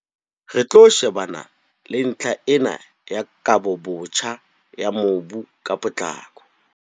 Re tlo shebana le ntlha ena ya kabobotjha ya mobu ka potlako.